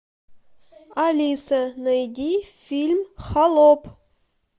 алиса найди фильм холоп